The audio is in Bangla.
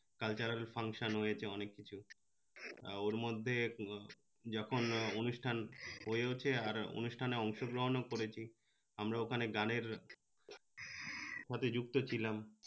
cultural function হয়েছে অনেক কিছু আহ ওর মধ্যে যখন অনুষ্ঠান হয়েছে আর অনুষ্ঠানে অংশগ্রহনও করেছি আমরা ওখানে গানের সাথে যুক্ত ছিলাম